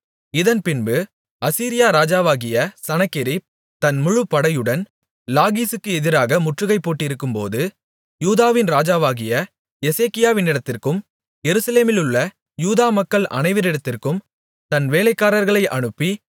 இதன்பின்பு Assyria ராஜாவாகிய Sennacherib தன் முழு படையுடன் லாகீசுக்கு எதிராக முற்றுகை போட்டிருக்கும்போது யூதாவின் ராஜாவாகிய எசேக்கியாவிடத்திற்கும் எருசலேமிலுள்ள யூதா மக்கள் அனைவரிடத்திற்கும் தன் வேலைக்காரர்களை அனுப்பி